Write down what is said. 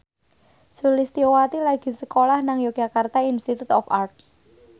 Sulistyowati lagi sekolah nang Yogyakarta Institute of Art